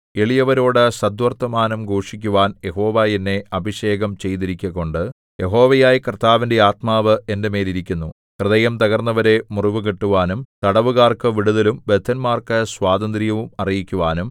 എളിയവരോടു സദ്വർത്തമാനം ഘോഷിക്കുവാൻ യഹോവ എന്നെ അഭിഷേകം ചെയ്തിരിക്കുകകൊണ്ടു യഹോവയായ കർത്താവിന്റെ ആത്മാവ് എന്റെ മേൽ ഇരിക്കുന്നു ഹൃദയം തകർന്നവരെ മുറിവുകെട്ടുവാനും തടവുകാർക്കു വിടുതലും ബദ്ധന്മാർക്കു സ്വാതന്ത്ര്യവും അറിയിക്കുവാനും